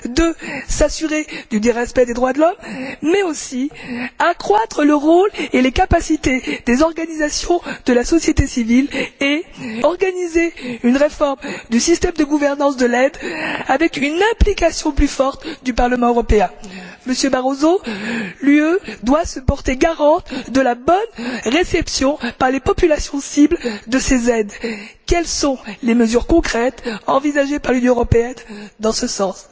Deuxièmement, s'assurer dudit respect des droits de l'homme, mais aussi accroître le rôle et les capacités des organisations de la société civile et organiser une réforme du système de gouvernance de l'aide avec une implication plus forte du Parlement européen. Monsieur Barroso, l'UE doit se porter garante de la bonne réception par les populations cibles de ces aides. Quelles sont les mesures concrètes envisagées par l'Union européenne dans ce sens?